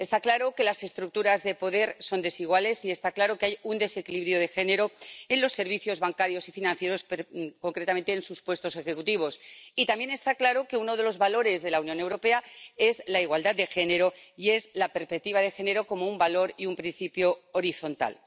Está claro que las estructuras de poder son desiguales y está claro que hay un desequilibrio de género en los servicios bancarios y financieros, concretamente en sus puestos ejecutivos, y también está claro que uno de los valores de la Unión Europea es la igualdad de género y la perspectiva de género como un valor y un principio horizontal.